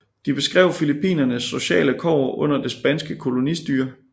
De beskrev Filippinernes sociale kår under det spanske kolonistyre